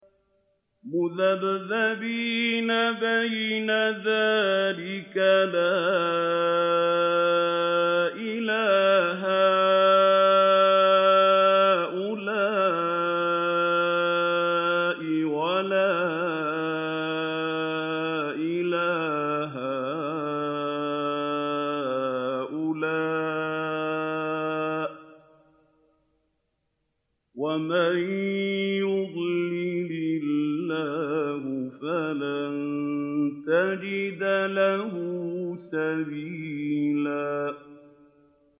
مُّذَبْذَبِينَ بَيْنَ ذَٰلِكَ لَا إِلَىٰ هَٰؤُلَاءِ وَلَا إِلَىٰ هَٰؤُلَاءِ ۚ وَمَن يُضْلِلِ اللَّهُ فَلَن تَجِدَ لَهُ سَبِيلًا